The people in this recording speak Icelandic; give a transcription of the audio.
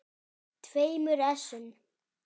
tveimur essum.